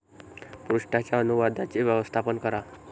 पृष्ठाच्या अनुवादाचे व्यवस्थापन करा